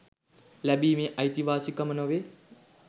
ලැබීමේ අයිතිවාසිකම නොවේ